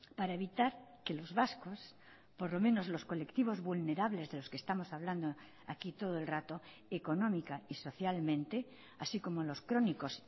para evitar que los vascos por lo menos los colectivos vulnerables de los que estamos hablando aquí todo el rato económica y socialmente así como los crónicos